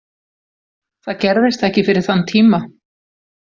Það gerðist ekki fyrir þann tíma.